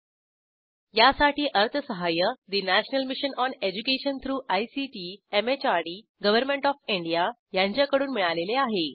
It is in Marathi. ।। 0950 । यासाठी अर्थसहाय्य national mission on education through ICT MHRD government of India यांच्याकडून मिळालेले आहे